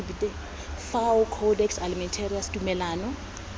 sk fao codex almentarius tumalano